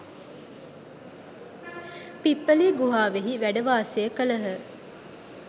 පිප්ඵලී ගුහාවෙහි වැඩවාසය කළහ.